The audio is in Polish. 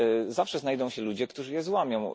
Zawsze znajdą się ludzie, którzy je złamią.